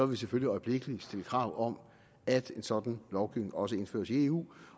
vi selvfølgelig øjeblikkelig stille krav om at en sådan lovgivning også indføres i eu